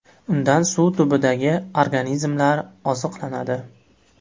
Undan suv tubidagi organizmlar oziqlanadi.